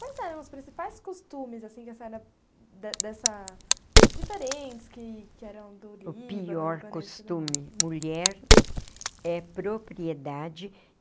Quais eram os principais costumes, assim, que a senhora... de dessa... Diferentes, que que eram do Líbano... O pior costume, mulher, é propriedade.